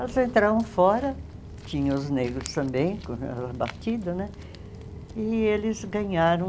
Elas entravam fora, tinham os negros também batido né, e eles ganharam